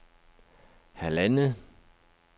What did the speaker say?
halvandet